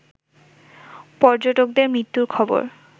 পর্যটকদের মৃত্যুর খবর